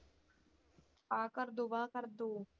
ਆਹ ਕਰਦੋ ਆਹ ਕਰਦੋ।